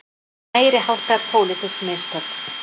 Meiriháttar pólitísk mistök